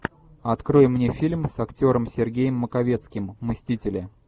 открой мне фильм с актером сергеем маковецким мстители